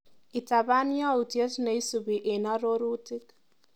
Itapan yautyet neisupi eng arorrutik.